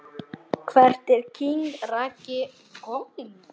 Hvert er king Raggi komin??